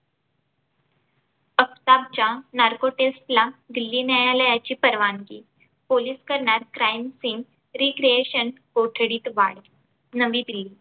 आफताबच्या narko test ला दिल्ली न्यायालयाची परवानगी पोलीस करणार crime scene recreation कोठडीत वाढ नवी दिल्ली